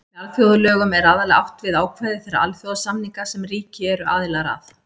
Með alþjóðalögum er aðallega átt við ákvæði þeirra alþjóðasamninga sem ríki eru aðilar að.